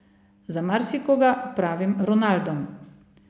Za marsikoga pravim Ronaldom.